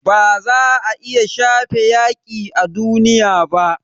Ba za a iya shafe yaƙi a duniya ba